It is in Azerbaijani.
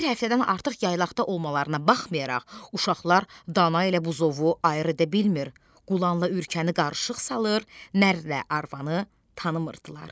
Bir həftədən artıq yaylaqda olmalarına baxmayaraq uşaqlar dana ilə buzovu ayrı edə bilmir, qulanla ürkəni qarışıq salır, nər ilə arvanı tanımırdılar.